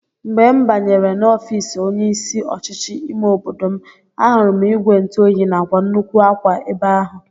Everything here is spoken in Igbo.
Mgbe m banyere n'ofiisi onye isi ọchịchị ime obodo m, ahụrụ m ìgwè ntụoyi nakwa nnukwu akwa ebe ahụ